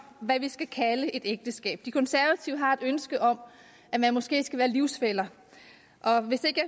hvad vi skal kalde et ægteskab de konservative har et ønske om at man måske skal være livsfæller og hvis ikke